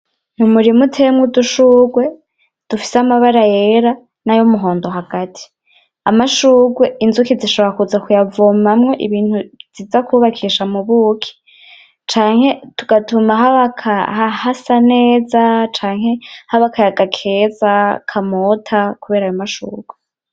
Umurima uteyemwo udushurwe dufise amabara yera nay'umuhondo hagati, amashurwe inzuki zishobora kuza kuyavomamwo ibintu ziza kubakisha mubuki canke tugatuma hasa neza canke haba akayaga keza kamota kubera ayo mashurwe.